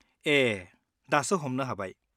ए, दासो हमनो हाबाय।